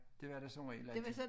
Det var der som regel altid